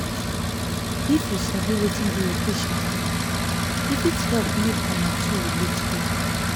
if you sabi wetin dey your patient mind e fit help make una two relate well